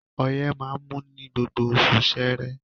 Ọyẹ́ máa ń mú ní gbogbo oṣù ṣeré